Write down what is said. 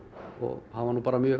og hann var nú bara mjög